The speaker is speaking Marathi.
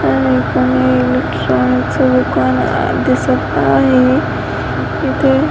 दुकान दिसत आहे इथे --